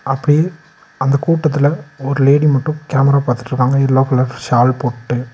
அப்டி அந்த கூட்டதுல ஒரு லேடி மட்டு கேமரா பாத்துட்ருக்காங்க எல்லோ கலர் ஷால் போட்டு.